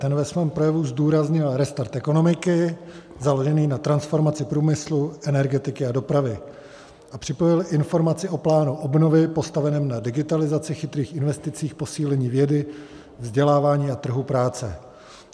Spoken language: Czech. Ten ve svém projevu zdůraznil restart ekonomiky založený na transformaci průmyslu, energetiky a dopravy a připojil informaci o plánu obnovy postaveném na digitalizaci, chytrých investicích, posílení vědy, vzdělávání a trhu práce.